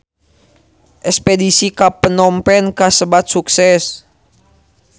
Espedisi ka Phnom Penh kasebat sukses